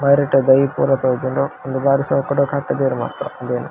ಬರಿಟ್ ದೈ ಪೂರ ತೋಜುಂಡ್ಡ್ ಉಂದ್ ಬಾರಿ ಶೋಕುದ ಕಟ್ಟುದೆರ್ ಮಾತ್ರ ಉಂದೆನ್.